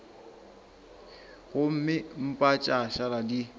gomme mpa tša šala di